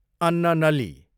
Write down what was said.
अन्ननली